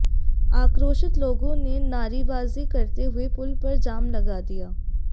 आक्रोशित लोगों ने नारेबाजी करते हुए पुल पर जाम लगा दिया